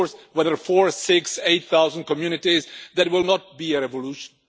Of course, whether it be four, six or eight thousand communities, it will not be a revolution.